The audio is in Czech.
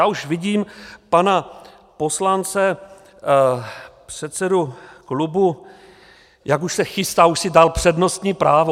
Já už vidím pana poslance, předsedu klubu, jak už se chystá, už si dal přednostní právo.